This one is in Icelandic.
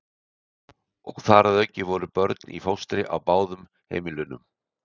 Og þar að auki voru börn í fóstri á báðum heimilunum.